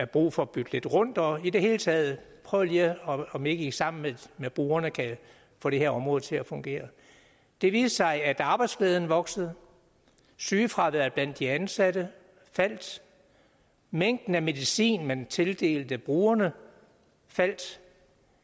brug for at bytte lidt rundt og i det hele taget prøv lige om ikke i sammen med brugerne kan få det her område til at fungere det viste sig at arbejdsglæden voksede sygefraværet blandt de ansatte faldt mængden af medicin man tildelte brugerne faldt